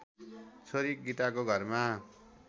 छोरी गीताको घरमा